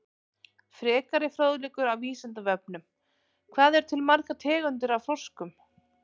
Frekari fróðleikur á Vísindavefnum: Hvað eru til margar tegundir af froskum?